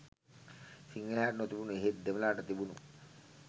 සිංහලයාට නොතිබුණු එහෙත් දෙමළාට තිබුණු